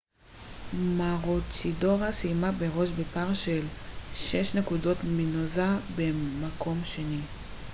מרוצ'ידורה סיימה בראש בפער של שש נקודות מנוזה במקום השני